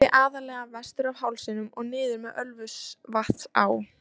Það flæddi aðallega vestur af hálsinum og niður með Ölfusvatnsá.